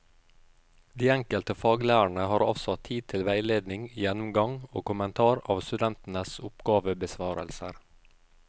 De enkelte faglærerne har avsatt tid til veiledning, gjennomgang og kommentar av studentenes oppgavebesvarelser.